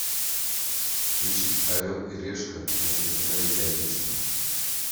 включить орел и решка на телеканале пятница